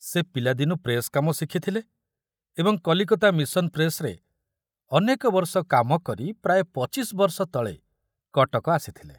ସେ ପିଲାଦିନୁ ପ୍ରେସ କାମ ଶିଖୁଥିଲେ ଏବଂ କଲିକତା ମିଶନ ପ୍ରେସରେ ଅନେକ ବର୍ଷ କାମ କରି ପ୍ରାୟ ପଚିଶ ବର୍ଷ ତଳେ କଟକ ଆସିଥିଲେ।